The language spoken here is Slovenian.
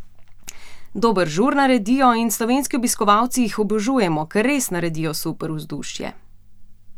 Dober žur naredijo in slovenski obiskovalci jih obožujemo, ker res naredijo super vzdušje!